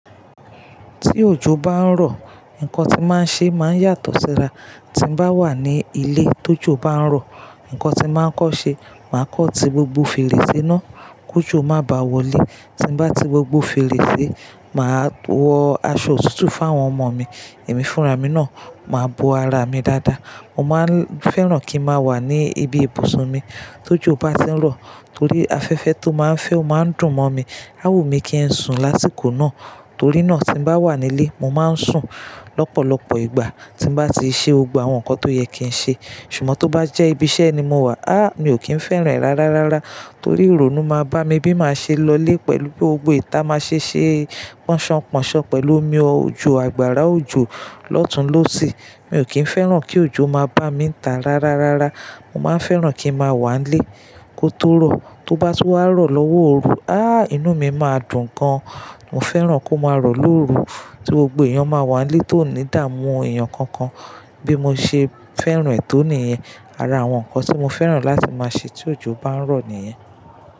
Tí òjò bá ń rọ, ǹkan tí màá n ṣe máa ń yàtọ̀ síra. Tí n mo bá wà ní ilé tó jọ bá ń rọ, ǹkan tí màá kọ́ ṣe, màá kọ́ ti gbogbo fèrèsé náà kó jọ má bá wọlé. Tí n bá ti gbogbo fèrèsé, màá wọ aṣọ otutu fún àwọn ọmọ mi. Ẹ̀mí fúnra mi náà ma bo ara mi dáadáa. Mo máa ń fẹ́ràn kí n má wà ní ibi ibùsùn mi tó jọ bá tí ń rọ torí afẹ́fẹ́ tó má ń fẹ́ ó má ń dùn mọ́ mi. Á wù mi kí ẹ sùn lásìkò náà torí náà tí mo bá wà nílé, mo máa ń sùn lọ́pọ̀lọpọ̀ ìgbà tí mo bá ti ṣe ogbà àwọn nǹkan tó yẹ kí n ṣe. Ṣùgbọ́n tó bá jẹ́ ibi iṣẹ́ ni mo wà, a! Mi ò kí ń fẹ́ràn rárárárá torí ìrònú ma bá mi bí màá ṣe lọlé pẹ̀lú pé ogbèé ta máa ṣe ṣé pọ́nṣanpọ́nṣan pẹ̀lú omi ọ̀jọ̀, àgbàrá òjọ̀ lọ́tunlọ́sì. Mi ò kí ń fẹ́ràn kí òjò má bá mi ń tà rárárárá. Mo máa ń fẹ́ràn kí n má wà nílé kó tó rọ. Tó bá tú wá rọ̀ lọ́wọ́ òru, a! Inú mi máa dùn gan. Mo fẹ́ràn kó máa rọ̀ lóru tí gbogbo èèyàn máa wà nílé tó nídà mu èèyàn kankan. Bí mo ṣe fẹ́ràn ètò nìyen. Ara àwọn nǹkan tí mo fẹ́ràn láti máa ṣe tí òjò bá ń rọ nìyen.